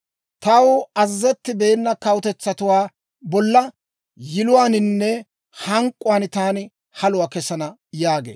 Taw azazettibeena kawutetsatuwaa bolla yiluwaaninne hank'k'uwaan taani haluwaa kesana» yaagee.